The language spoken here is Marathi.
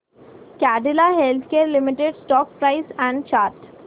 Cadila healthcare limited stock price and chart